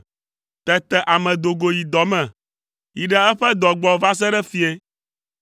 Tete ame do go yi dɔ me, yi ɖe eƒe dɔ gbɔ va se ɖe fiẽ.